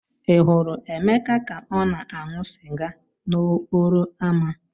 Ị hụrụ emeka ka ọ na-aṅụ sịga n'okporo ámá?